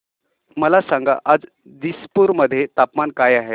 मला सांगा आज दिसपूर मध्ये तापमान काय आहे